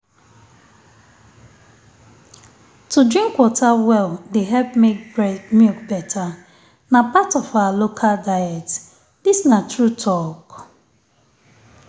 to drink water well dey help make milk better. na part of our local diet. dis na true talk.